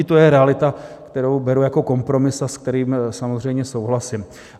I to je realita, kterou beru jako kompromis, s kterým samozřejmě souhlasím.